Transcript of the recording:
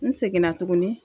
N seginna tuguni